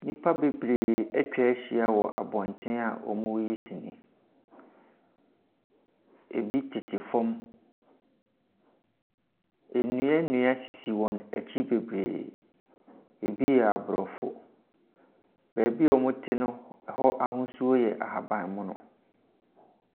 Nnipa bebree atwa ahyia wɔ abɔnten wɔreyi sinii. Ɛbi tete fam. Nnuannua sisi wɔn akyi bebree. Ɛbi yɛ aborɔfo. Beebi a wɔte no, hɔ ahosuo yɛ ahabanmono.